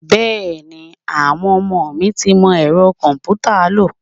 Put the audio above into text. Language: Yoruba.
Bẹẹni, àwọn ọmọ mi tí ń mọ Ẹ̀rọ komputa lo.